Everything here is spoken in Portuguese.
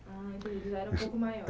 Ah, então eles já eram um pouco maiores